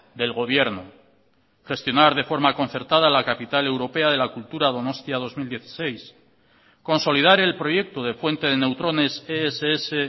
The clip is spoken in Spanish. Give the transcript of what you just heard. del gobierno gestionar de forma concertada la capital europea de la cultura donostia dos mil dieciséis consolidar el proyecto de fuente de neutrones ess